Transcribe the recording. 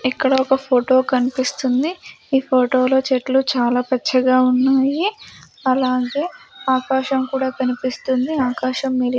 ఇక్కడ ఒక ఫొటో కన్పిస్తుంది ఈ ఫోటో లో చెట్లు చాలా పచ్చగా ఉన్నాయి అలాగే ఆకాశం కూడా కనిపిస్తుంది ఆకాశం --